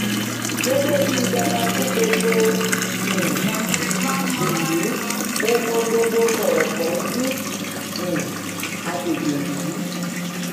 gẹgẹ bíi bàbá fún gbogbo um ìlú mo mọ gbogbo kọrọkọǹdù um àgbègbè yìí